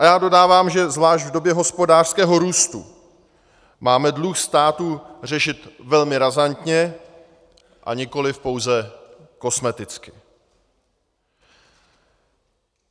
A já dodám, že zvlášť v době hospodářského růstu máme dluh státu řešit velmi razantně a nikoliv pouze kosmeticky.